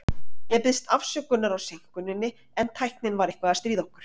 Ég biðst afsökunar á seinkuninni, en tæknin var eitthvað að stríða okkur.